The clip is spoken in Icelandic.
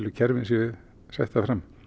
kerfin séu settar fram